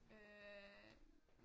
Øh